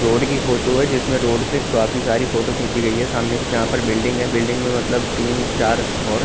road की photo है जिसमे रोड़ से काफी सारी फोटो खिची गई है सामने से यहाँ पर बिल्डिंग है बिल्डिंग में मतलब तीन चार थोर--